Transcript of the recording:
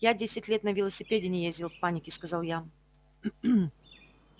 я десять лет на велосипеде не ездил в панике сказал я